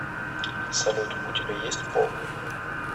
салют у тебя есть пол